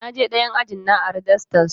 Na je ɗayan ajin na ari dastar su.